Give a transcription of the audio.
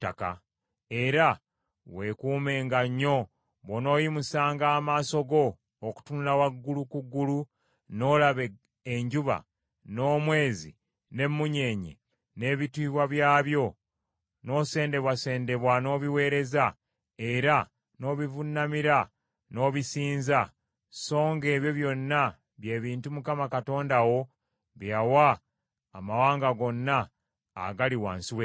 Era weekuumenga nnyo bw’onooyimusanga amaaso go okutunula waggulu ku ggulu, n’olaba enjuba, n’omwezi n’emmunyeenye, n’ebitiibwa byabyo, n’osendebwasendebwa n’obiweereza, era n’obivuunamira n’obisinza; songa ebyo byonna bye bintu Mukama Katonda wo bye yawa amawanga gonna agali wansi w’eggulu.